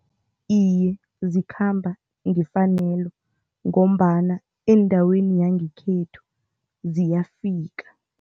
Iye, zikhamba ngefanelo ngombana eendaweni yangekhethu ziyafika.